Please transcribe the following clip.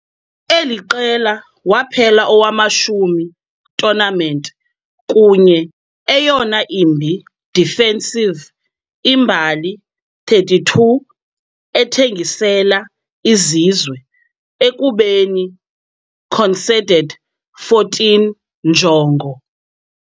Eli qela waphela owamashumi tournament kunye eyona imbi defensive imbali 32 ethengisela izizwe, ekubeni conceded 14 njongo.